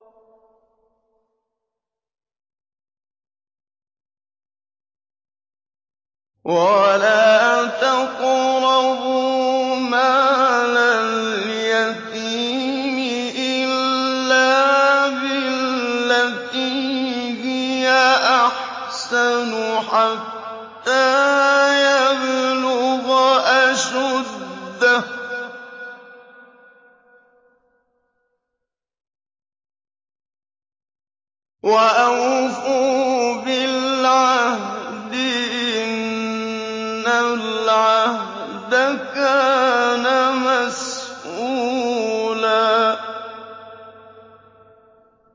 وَلَا تَقْرَبُوا مَالَ الْيَتِيمِ إِلَّا بِالَّتِي هِيَ أَحْسَنُ حَتَّىٰ يَبْلُغَ أَشُدَّهُ ۚ وَأَوْفُوا بِالْعَهْدِ ۖ إِنَّ الْعَهْدَ كَانَ مَسْئُولًا